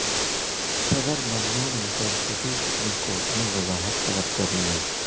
صدر ممنون حسین سے بھی سپریم کورٹ نے وضاحت طلب کر لی ہے